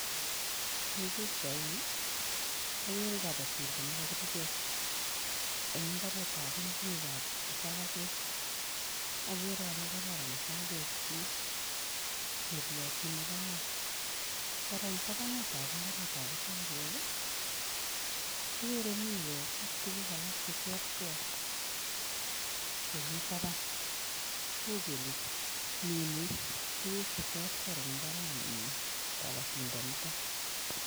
Eng pichaini, ageere kabatindet nekapirkei eng imbaaretab ingwekab isakek, ageere ale kororan isakekchi neriotin nebo iman. Kora eng tabanutab imbaaretab isakek agere miwek ak tuguk alak che terter chemi taban. Uu kele minei tuuguk che terter eng imbaarenyi kabatindonito.